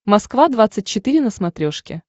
москва двадцать четыре на смотрешке